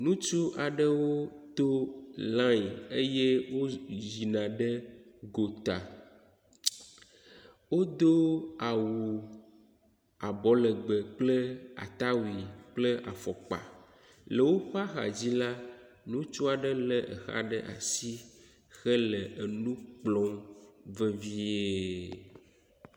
Ŋutsu aɖewo to lani eye wo yina ɖe gota. Wodo awu abɔlegbe kpel atawui kple afɔkpa le woƒe axa dzi la, ŋutsu aɖe le exa ɖe asi hele nu kplɔm vevie.